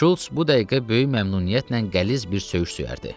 Şults bu dəqiqə böyük məmnuniyyətlə qəliz bir söyüş söyərdi.